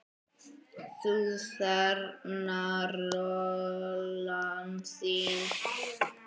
Þú þarna, rolan þín.